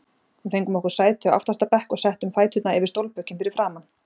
Við fengum okkur sæti á aftasta bekk og settum fæturna yfir stólbökin fyrir framan.